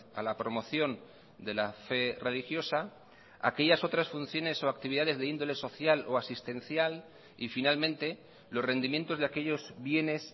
a la promoción de la fe religiosa aquellas otras funciones o actividades de índole social o asistencial y finalmente los rendimientos de aquellos bienes